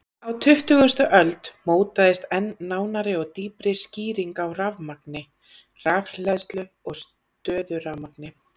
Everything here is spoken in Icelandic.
Á tuttugustu öld mótaðist enn nánari eða dýpri skýring á rafmagni, rafhleðslu og stöðurafmagni.